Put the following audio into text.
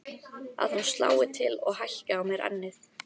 Að hún slái til og hækki á mér ennið.